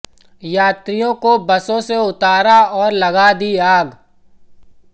यात्रियों को बसों से उतारा और लगा दी आग